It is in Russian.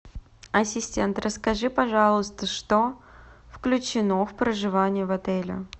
ассистент расскажи пожалуйста что включено в проживание в отеле